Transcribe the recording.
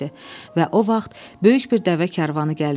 Və o vaxt böyük bir dəvə karvanı gəlmişdi.